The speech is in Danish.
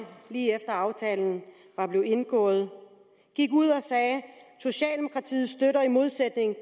lige efter at aftalen var blevet indgået gik ud og sagde socialdemokratiet støtter i modsætning